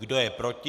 Kdo je proti?